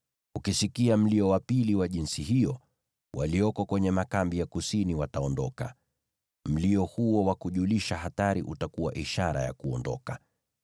Ukisikika mlio wa pili wa jinsi hiyo, walioko kwenye makambi ya kusini wataondoka. Mlio huo wa kujulisha hatari utakuwa ishara ya kuondoka.